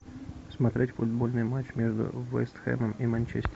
смотреть футбольный матч между вест хэмом и манчестер